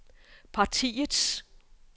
partiets